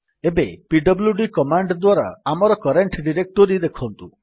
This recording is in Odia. ଏବେ ପିଡବ୍ଲ୍ୟୁଡି କମାଣ୍ଡ୍ ଦ୍ୱାରା ଆମର କରେଣ୍ଟ୍ ଡିରେକ୍ଟୋରୀ ଦେଖନ୍ତୁ